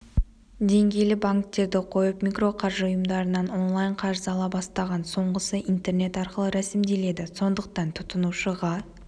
деңгейлі банктерді қойып микроқаржы ұйымдарынан онлайн қарыз ала бастаған соңғысы интернет арқылы рәсімделеді сондықтан тұтынушыға